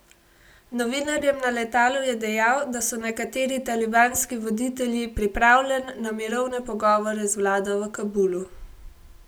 Novinarjem na letalu je dejal, da so nekateri talibanski voditelji pripravljen na mirovne pogovore z vlado v Kabulu.